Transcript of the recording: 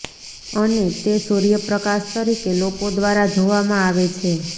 અને તે સૂર્યપ્રકાશ તરીકે લોકો દ્વારા જોવામાં આવે છે